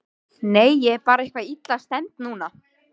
Nei, ég er bara eitthvað illa stemmd núna.